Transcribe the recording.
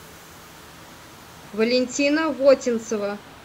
валентина вотинцева